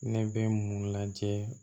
Ne bɛ mun lajɛ